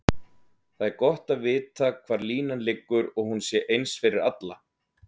Það er gott að vita hvar línan liggur og hún sé eins fyrir alla.